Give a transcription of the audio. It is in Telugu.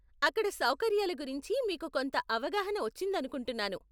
అక్కడ సౌకర్యాల గురించి మీకు కొంత అవగాహన వచ్చిందనుకుంటున్నాను.